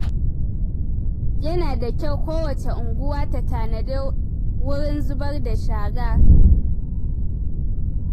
Yana da kyau kowace unguwa ta tanadi wurin zubar da shara.